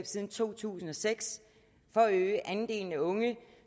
siden to tusind og seks for at øge andelen af unge